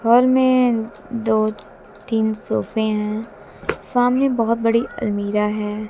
घर में दो तीन सोफ़े है सामने बहोत बड़ी अलमीरा है।